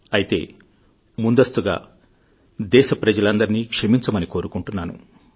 అయితే ముందస్తుగా దేశప్రజలందరినీక్షమించమని కోరుకుంటున్నాను